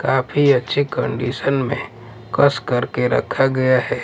काफी अच्छी कंडीशन में कस करके रखा गया हैं।